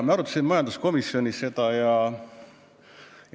Me arutasime seda majanduskomisjonis.